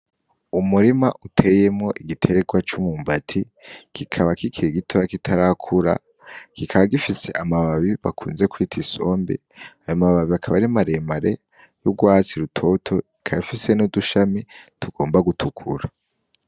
Umurima uteyemwo igiterwa c'umwumbati kikaba kikiri gitoyi kitarakura kikaba gifise amababi bakunze kwita isombe, ayo mababi akaba ari maremare nk'urwatsi rutoto ikaba ifise n'udushami tugomba gutukura